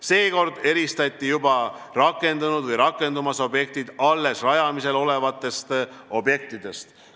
Seekord eristati juba rakendunud või rakendumas objektid alles rajamisel olevatest objektidest.